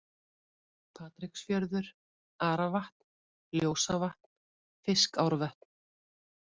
Patreksfjörður, Aravatn, Ljósavatn, Fiskárvötn